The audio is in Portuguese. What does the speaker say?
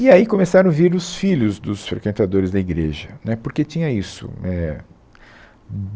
E aí começaram a vir os filhos dos frequentadores da igreja, né, porque tinha isso. É,